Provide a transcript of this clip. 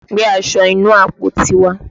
Gbé aṣọ inú àpótí wá!